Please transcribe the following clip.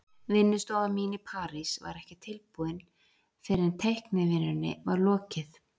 Vinnustofan mín í París var ekki tilbúin fyrr en teiknivinnunni var lokið.